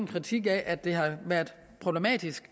kritik af at det har været problematisk